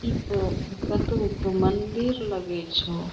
ई तअ कथू क मंदिर लगै छौ।